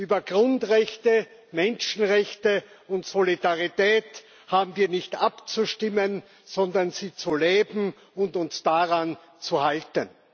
Über Grundrechte, Menschenrechte und Solidarität haben wir nicht abzustimmen, sondern sie zu leben und uns daran zu halten.